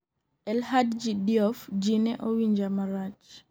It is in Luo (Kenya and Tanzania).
El Hadji Diouf; ji ne owinja marach